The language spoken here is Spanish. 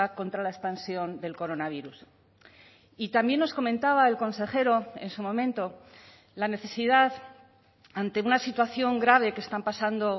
contra la expansión del coronavirus y también nos comentaba el consejero en su momento la necesidad ante una situación grave que están pasando